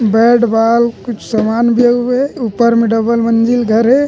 Bat ball कुछ समान भी आए हुए हे ऊपर में डबल मंज़िल घर हे।